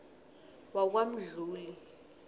wakwamdluli